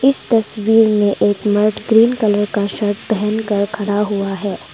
इस तस्वीर में एक मर्द ग्रीन कलर का शर्ट पहनकर खड़ा हुआ है।